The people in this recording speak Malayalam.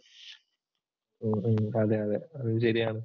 ഉം ഉം അതെ അതെ അതും ശരിയാണ്.